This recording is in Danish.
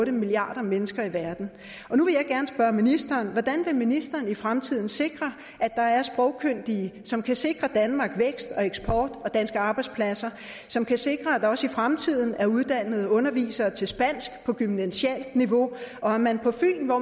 milliarder mennesker i verden og nu vil jeg gerne spørge ministeren hvordan vil ministeren i fremtiden sikre at der er sprogkyndige som kan sikre danmark vækst og eksport og danske arbejdspladser som kan sikre at der også i fremtiden er uddannede undervisere til spansk på gymnasialt niveau og at man på fyn hvor